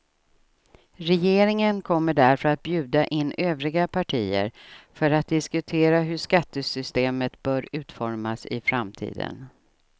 Regeringen kommer därför att bjuda in övriga partier för att diskutera hur skattesystemet bör utformas i framtiden.